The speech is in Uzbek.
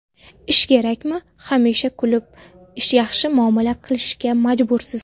Ish kerakmi, hamisha kulib, yaxshi muomala qilishga majbursiz.